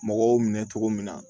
Mɔgɔw minɛ cogo min na